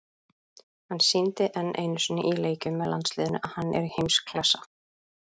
Hann sýndi enn einu sinni í leikjum með landsliðinu að hann er í heimsklassa.